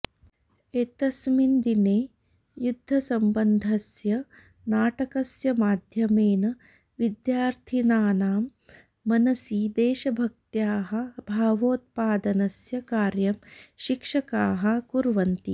एतस्मिन् दिने युद्धसम्बद्धस्य नाटकस्य माध्यमेन विद्यार्थिनां मनसि देशभक्त्याः भावोत्पादनस्य कार्यं शिक्षकाः कुर्वन्ति